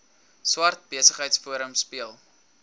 swart besigheidsforum speel